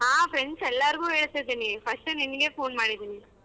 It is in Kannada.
ಹಾ friends ಎಲ್ಲಾರಗೂ ಹೇಳ್ತಿದೀನಿ first ನಿನಗೆ phone ಮಾಡಿದೀನಿ.